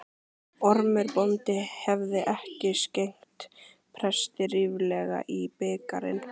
Ormur bóndi hefði ekki skenkt presti ríflega í bikarinn.